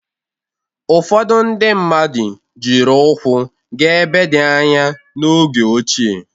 Ụfọdụ ndị mmadụ jiri ụkwụ gaa ebe dị anya n'oge ochie.